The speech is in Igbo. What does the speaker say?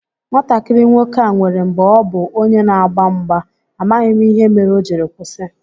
Nwatakịrị nwoke a nwèrè mgbè ọ bu onye n'agba mgba, amaghị m ihe mere o jiri kwụsị